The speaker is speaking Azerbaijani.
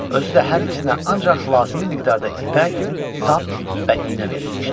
Özü də hər ikisinə ancaq lazımi miqdarda ipək, sap və iynə verilmişdi.